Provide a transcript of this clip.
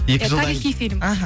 тарихи фильм аха